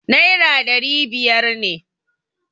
Naira ɗari biyar ne.